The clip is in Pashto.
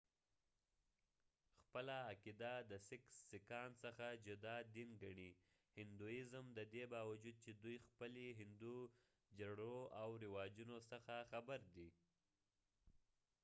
سکان sikhsخپله عقیده د هندوایزمhinduism څخه جدا دين ګڼی ، ددې باوجود چې دوي خپلی هندو جرړو او رواجونه څخه خبر دي